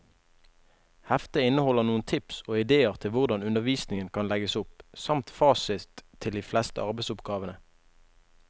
Heftet inneholder noen tips og idéer til hvordan undervisningen kan legges opp, samt fasit til de fleste arbeidsoppgavene.